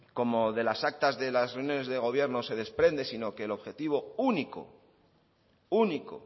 como de las actas de las reuniones de gobierno se desprende sino que el objetivo único único